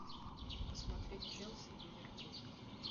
посмотреть челси ливерпуль